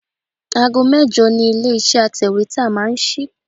Aago mẹ́jọ ni ilé iṣẹ́ atẹ̀wétà máa ń sí.